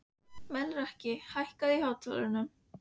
Melrakki, hækkaðu í hátalaranum.